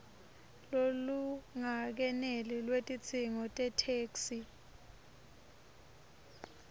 lolungakeneli lwetidzingo tetheksthi